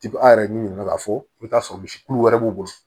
a yɛrɛ ɲinika ka fɔ i bɛ t'a sɔrɔ misi kulu wɛrɛ b'u bolo